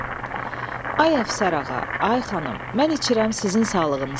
Ay əfsər ağa, ay xanım, mən içirəm sizin sağlığınıza.